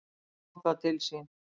Hann tók það til sín: